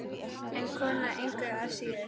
En kona engu að síður.